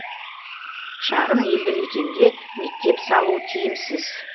шағын елді мекенге мектеп салу тиімсіз